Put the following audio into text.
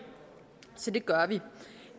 så det gør vi